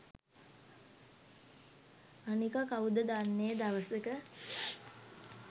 අනික කවුද දන්නේ දවසක